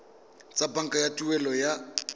tsa banka tsa tuelo ya